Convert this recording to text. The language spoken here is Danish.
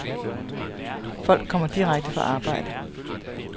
Folk kommer direkte fra arbejde.